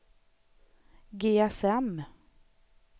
GSM